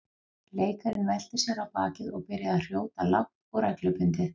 Leikarinn velti sér á bakið og byrjaði að hrjóta lágt og reglubundið.